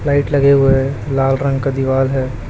Light लगे हुए है लाल रंग का दिवाल है।